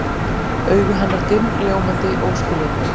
Augu hennar dimm, ljómandi, óskiljanleg.